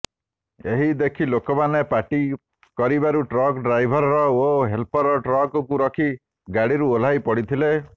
ଏହି ଦେଖି ଲୋକମାନେ ପାଟି କରିବାରୁ ଟ୍ରକ୍ ଡ୍ରାଇଭର ଓ ହେଲପର ଟ୍ରକକୁ ରଖି ଗାଡିରୁ ଓହ୍ଲାଇ ପଡିଥିଲେ